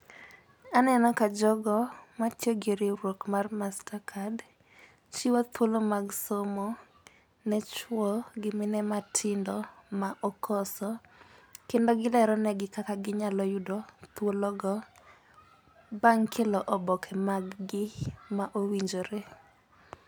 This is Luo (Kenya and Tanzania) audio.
Aneno ka jogo matiyo gi riwruok mar master card chiwo thuolo mag somo ne chuo gi mine matindo ma okoso. Kendo gilero ne gi kaka ginyalo yudo thuolo go bang' kelo oboke mag gi ma owinjore.